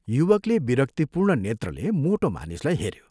युवकले विरक्तिपूर्ण नेत्रले मोटो मानिसलाई हेऱ्यो।